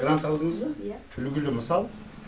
грант алдыңыз ба иә үлгілі мысал